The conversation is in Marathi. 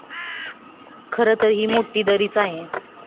खरं तर, ही मोठी दरीच आहे.